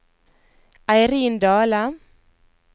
Eirin Dahle